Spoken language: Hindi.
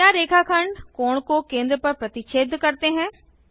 क्या रेखाखंड कोण को केंद्र पर प्रतिच्छेद करते हैं